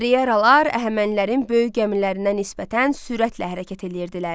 Triyeralar Əhəmənilərin böyük gəmilərinə nisbətən sürətlə hərəkət edirdilər.